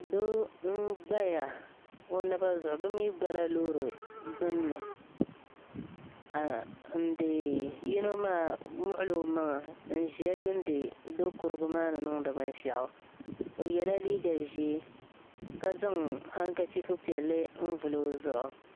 Doo m-gbaya o naba zuɣu bɛ gbala loori gbunni yino maa muɣila o maŋa n-ʒiya n-yuuni Dokurigu maa ni niŋdi binshɛɣu o yela liiga ʒee ka zaŋ hankachifu piɛlli n-vili o zuɣu.